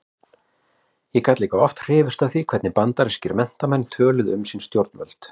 Ég gat líka oft hrifist af því hvernig bandarískir menntamenn töluðu um sín stjórnvöld.